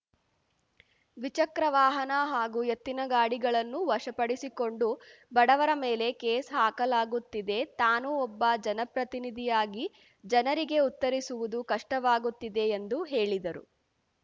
ದ್ವಿಚಕ್ರ ವಾಹನ ಹಾಗೂ ಎತ್ತಿನಗಾಡಿಗಳನ್ನು ವಶಪಡಿಸಿಕೊಂಡು ಬಡವರ ಮೇಲೆ ಕೇಸ್‌ ಹಾಕಲಾಗುತ್ತಿದೆ ತಾನು ಒಬ್ಬ ಜನಪ್ರತಿನಿಧಿಯಾಗಿ ಜನರಿಗೆ ಉತ್ತರಿಸುವುದು ಕಷ್ಟವಾಗುತ್ತಿದೆ ಎಂದು ಹೇಳಿದರು